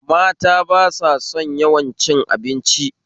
Mata ba sa son yawan cin abinci